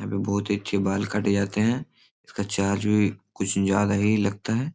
यहाँ पे बहुत ही अच्छे बाल काटे जाते हैं उसका चार्ज भी कुछ ज्यादा ही लगता है